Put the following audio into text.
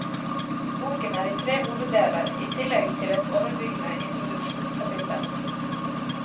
Boken er i tre hoveddeler i tillegg til et overbyggende introduksjonskapittel.